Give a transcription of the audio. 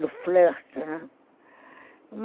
Do flerte, né?